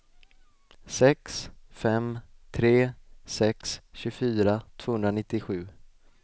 sex fem tre sex tjugofyra tvåhundranittiosju